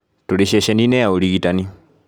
Tũrĩ ceceni-inĩ ya ũrigitani